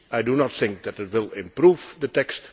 I do not think that they will improve the text